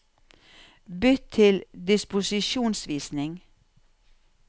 Bytt til disposisjonsvisning